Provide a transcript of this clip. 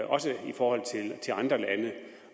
også i forhold til andre lande